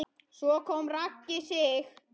Svo kom Raggi Sig.